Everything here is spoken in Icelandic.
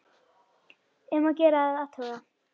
Um að gera að athuga.